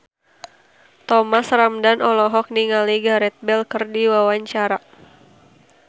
Thomas Ramdhan olohok ningali Gareth Bale keur diwawancara